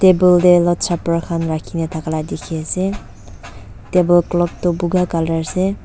Table tey lord supper khan rakhe kena thaka la dekhi ase table clothes thu puga colour ase.